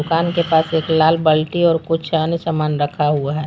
दुकान के पास एक लाल बल्टी और कुछ अन्य सामान रखा हुआ है।